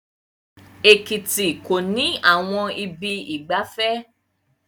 Ekiti kò ní àwọn ibi ìgbafẹ́